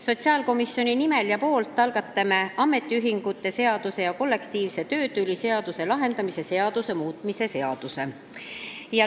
Sotsiaalkomisjoni nimel annan üle ametiühingute seaduse ja kollektiivse töötüli lahendamise seaduse muutmise seaduse eelnõu.